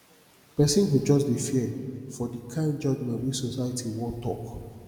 pesin go jus dey fear for di kain judgement wey society wan tok